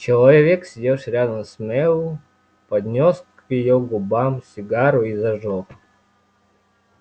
человек сидевший рядом с мэллоу поднёс к её губам сигару и зажёг